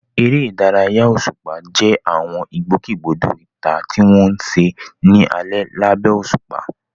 Eré ìdárayá òṣùpá jẹ́ àwọn ìgbòkègbodò ìta tí wọ́n ń ṣe ní alẹ́ lábẹ́ òṣùpá.